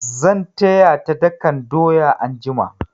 Zan taya ta dakan doya anjiya.